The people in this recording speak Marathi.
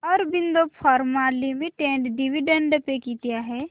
Aurobindo pharma limited dividend pay किती आहे